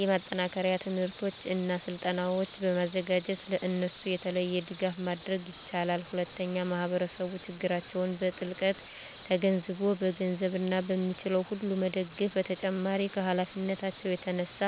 የማጠናከሪያ ትምህርቶችን እና ስልጠናዎችን በማዘጋጀት ለእነሱ የተለየ ድጋፍ ማድረግ ይችላል። ሁለተኛ ማህበረሰቡ ችግራቸውን በጥልቀት ተገንዝቦ በገንዘብ እና በሚችለው ሁሉ መደገፍ በተጨማሪም ከሀላፊነታቸው የተነሳ